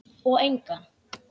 Og engan.